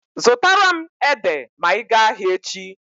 Zụtara m ede ma ị gaa ahịa echi.